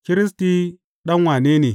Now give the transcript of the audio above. Kiristi ɗan wane ne?